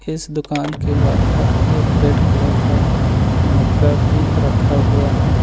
इस दुकान के बाहर एक रेड कलर का मग्गा भी एक रखा हुआ है।